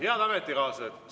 Head ametikaaslased!